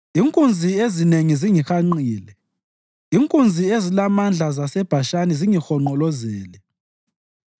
Inkunzi ezinengi zingihanqile; inkunzi ezilamandla zaseBhashani zingihonqolozele.